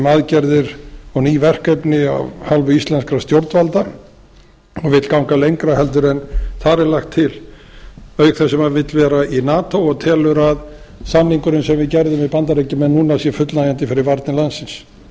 aðgerðir og ný verkefni af hálfu íslenskra stjórnvalda og vill ganga lengra heldur en þar er lagt til auk þess sem hann vill vera í nato og telur að samningurinn sem við gerðum við bandaríkjamenn núna séu fullnægjandi fyrir varnir landsins